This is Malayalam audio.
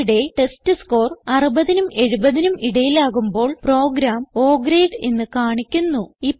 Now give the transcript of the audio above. ഇവിടെ ടെസ്റ്റ്സ്കോർ 60നും 70നും ഇടയിലാകുമ്പോൾ പ്രോഗ്രാം O ഗ്രേഡ് എന്ന് കാണിക്കുന്നു